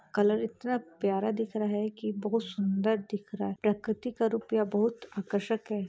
Colour इतना प्यारा दिख रहा है की बहुत सुंदर दिख रहा है प्रकृति का रूप यह बहुत आकर्षक है ।